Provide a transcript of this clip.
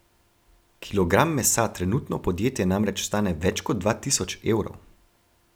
Kilogram mesa trenutno podjetje namreč stane več kot dva tisoč evrov.